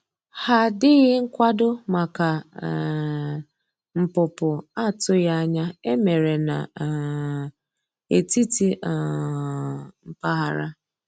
Ha dịghị nkwado maka um npụpụ atụghi anya e mere na um etiti um mpaghara.